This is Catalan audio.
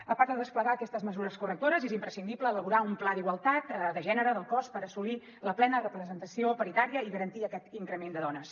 a part de desplegar aquestes mesures correctores és imprescindible elaborar un pla d’igualtat de gènere del cos per assolir la plena representació paritària i garantir aquest increment de dones